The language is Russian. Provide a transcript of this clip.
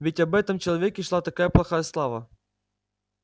ведь об этом человеке шла такая плохая слава